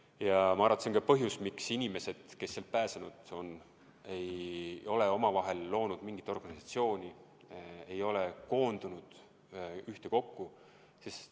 Ja ma arvan, et see on ka põhjus, miks inimesed, kes sealt pääsesid, ei ole omavahel loonud mingit organisatsiooni, ei ole koondunud kokku.